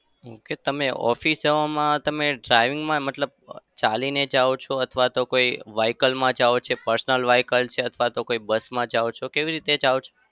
Okay તમે office જવામાં તમે driving માં મતલબ ચાલીને જાઓ છો? અથવા તો vehicle માં જાઓ છો? personal vehicle છે અથવા તો કોઈ bus માં જાઓ કેવી રીતે જાઓ છો?